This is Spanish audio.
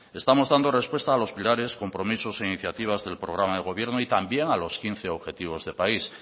estamos dando respuesta a los pilares compromisos e iniciativas del programa de gobierno y también a los quince objetivos de país